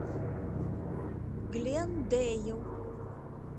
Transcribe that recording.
глендейл